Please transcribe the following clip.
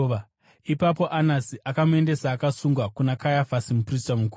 Ipapo Anasi akamuendesa, akasungwa kuna Kayafasi muprista mukuru.